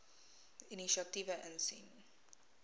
inisiatiewe insien